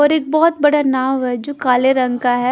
और एक बहुत बड़ा नाव है जो काले रंग का है।